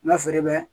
N ka feere bɛ